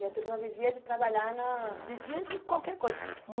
E a turma vivia de trabalhar na... Vivia de qualquer coisa.